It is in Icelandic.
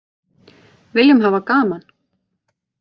Viljum hafa gaman